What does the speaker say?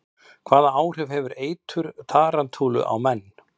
Hvaða áhrif hefur eitur tarantúlu á menn?